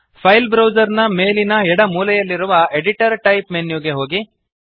file browser ನ ಮೇಲಿನ ಎಡ ಮೂಲೆಯಲ್ಲಿರುವ ಎಡಿಟರ್ ಟೈಪ್ ಮೆನ್ಯು ಗೆ ಹೋಗಿ